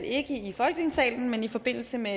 ikke i folketingssalen men i forbindelse med